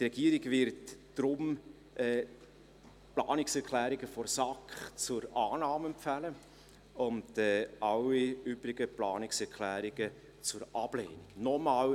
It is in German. Die Regierung wird deshalb die Planungserklärungen der SAK zur Annahme und alle übrigen Planungserklärungen zur Ablehnung empfehlen.